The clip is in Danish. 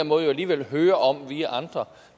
måde jo alligevel hører om via andre